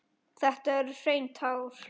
Þetta eru hrein tár.